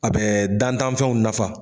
A bɛ dantanfɛnw nafa.